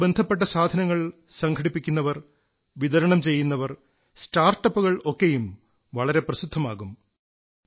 അതുമായി ബന്ധപ്പെട്ട സാധനങ്ങൾ സംഘടിപ്പിക്കുന്നവർ വിതരണംചെയ്യുന്നവർ സ്റ്റാർട്ടപ്പുകൾ ഒക്കെയും വളരെ പ്രസിദ്ധമാകും